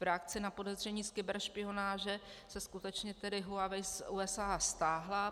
V reakci na podezření z kyberšpionáže se skutečně tedy Huawei z USA stáhla.